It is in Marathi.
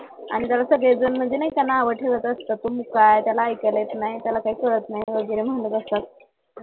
आणि त्याला सगळेजण नाही का नावं ठेवत असतात मुक्का आहे त्याला ऐकला येत नाही त्याला काही कळत नाही वगैरे म्हणत असतात